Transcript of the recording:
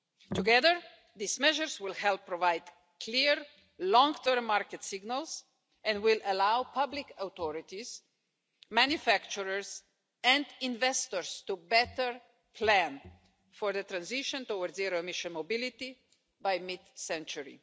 Together, these measures will help provide clear, long term market signals and will allow public authorities, manufacturers and investors to better plan for the transition towards zero emission mobility by mid century.